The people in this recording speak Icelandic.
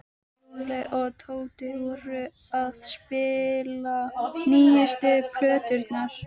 Lúlli og Tóti voru að spila nýjustu plöturnar.